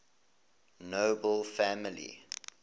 nobel family